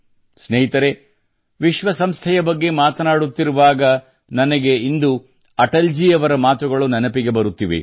ಸ್ನೇಹಿತರೇ ವಿಶ್ವ ಸಂಸ್ಥೆಯ ಬಗ್ಗೆ ಮಾತನಾಡುತ್ತಿರುವಾಗ ನನಗೆ ಇಂದು ಅಟಲ್ ಜಿ ಅವರ ಮಾತುಗಳು ನೆನಪಿಗೆ ಬರುತ್ತಿದೆ